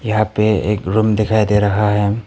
यहां पे एक रूम दिखाई दे रहा है।